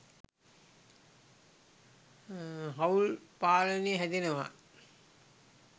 හවුල් පාලනය හැදෙනවා.